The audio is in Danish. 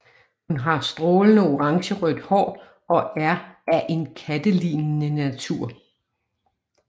Hun har strålende orangerødt hår og er af en kattelignende natur